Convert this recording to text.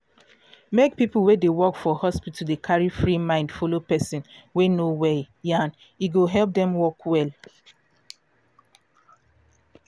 make people wey dey work for hospital dey carry free mind follow person wey no well yan e go help dem work well